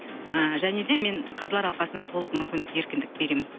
ы және де мен қазылар алқасына толық мүмкіндік еркіндік беремін